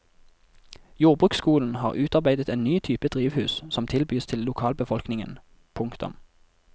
Jordbruksskolen har utarbeidet en ny type drivhus som tilbys til lokalbefolkningen. punktum